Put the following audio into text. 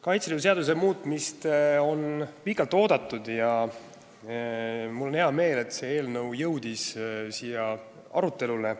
Kaitseliidu seaduse muutmist on pikalt oodatud ja mul on hea meel, et see eelnõu jõudis siia arutelule.